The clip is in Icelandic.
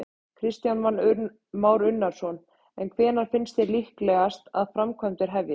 Kristján Már Unnarsson: En hvenær finnst þér líklegt að framkvæmdir hefjist?